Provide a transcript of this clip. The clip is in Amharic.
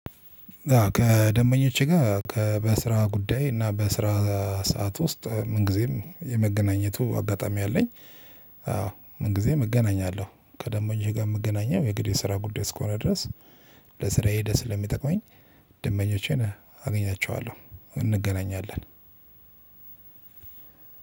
ከደምበኞቼ ጋር ከበስራ ጉዳይ እና በስራ ሰዓት ውስጥ ምን ጊዜም የመገናኘቱ አጋጣሚ አለኝ? አዎ ምን ጊዜ እገናኛለሁ ከደምበኞቼ ጋር የምገናኘው የግድ የስራ ጉዳይ እስከሆነ ድረስ። ለስራዬ ደስ ለሚጠቅመኝ ደምበኞቼን አገኛቸዋለሁ እንገናኛለን።